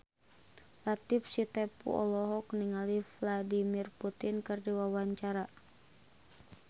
Latief Sitepu olohok ningali Vladimir Putin keur diwawancara